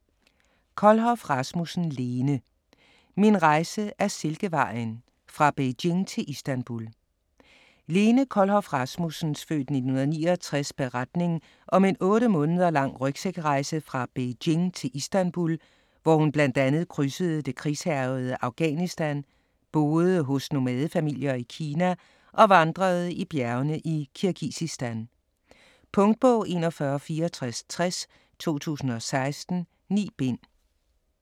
Kohlhoff Rasmussen, Lene: Min rejse ad Silkevejen: fra Beijing til Istanbul Lene Kohlhoff Rasmussens (f. 1969) beretning om en otte måneder lang rygsækrejse fra Beijing til Istanbul, hvor hun bl.a. krydsede det krigshærgede Afghanistan, boede hos nomadefamilier i Kina og vandrede i bjergene i Kirgisistan. Punktbog 416460 2016. 9 bind.